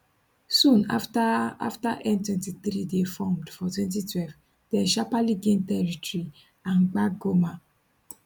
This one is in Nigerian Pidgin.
soon afta afta m23 dey formed for 2012 dem sharparly gain territory and gbab goma